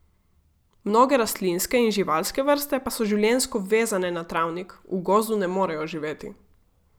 Mnoge rastlinske in živalske vrste pa so življenjsko vezane na travnik, v gozdu ne morejo živeti.